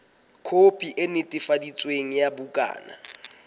khopi e netefaditsweng ya bukana